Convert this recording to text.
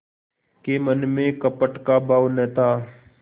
के मन में कपट का भाव न था